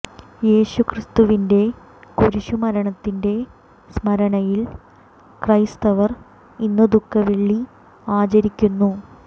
യേശു ക്രിസ്തുവിന്റെ കുരിശു മരണത്തിന്റെ സ്മരണയിൽ ക്രൈസ്തവർ ഇന്ന് ദുഃഖ വെള്ളി ആചരിക്കുന്നു